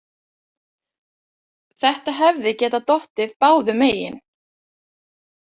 Þetta hefði getað dottið báðum megin.